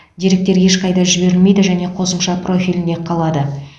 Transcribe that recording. деректер ешқайда жіберілмейді және қосымша профилінде қалады